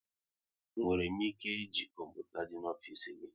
E nwere m ike e ji kọmputa dị n'ofisi gị?